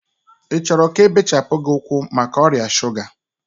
ị chọrọ ka ebechapụ gị ụkwụ maka ọrịa shuga?